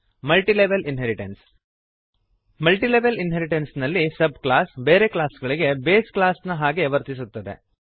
multilevel inheritance multilevel inheritance ನಲ್ಲಿ subclass ಬೇರೆ ಕ್ಲಾಸ್ಗಳಿಗೆ ಬೇಸ್ ಕ್ಲಾಸ್ ನ ಹಾಗೆ ವರ್ತಿಸುತ್ತದೆ